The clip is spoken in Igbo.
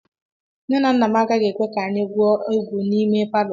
Nne na nna m agaghị ekwe ka anyị gwuo egwu n'ime palọ